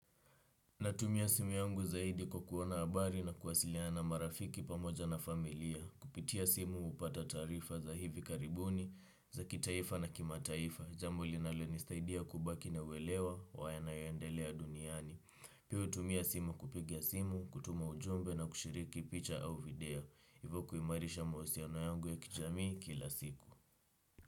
Natumia simu yangu zaidi kwa kuona habari na kuwasiliana marafiki pamoja na familia. Kupitia simu hupata taarifa za hivi karibuni, za kitaifa na kima taifa. Jambo linalonisaidia kubaki na uelewa wa yanayoendelea duniani. Pia hutumia simu kupigia simu, kutuma ujumbe na kushiriki picha au video. Hivo kuimarisha mahusiano yangu ya kijamii kila siku.